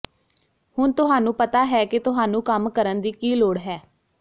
ਹੁਣ ਤੁਹਾਨੂੰ ਪਤਾ ਹੈ ਕਿ ਤੁਹਾਨੂੰ ਕੰਮ ਕਰਨ ਦੀ ਕੀ ਲੋੜ ਹੈ